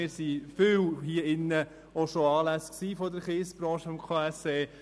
Viele von uns hier im Saal haben an Anlässen der Kiesbranche teilgenommen.